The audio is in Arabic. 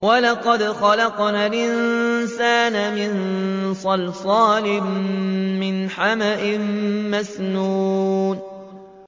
وَلَقَدْ خَلَقْنَا الْإِنسَانَ مِن صَلْصَالٍ مِّنْ حَمَإٍ مَّسْنُونٍ